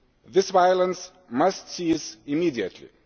This violence must cease immediately.